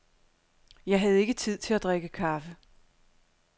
Jeg havde ikke tid til at drikke kaffe.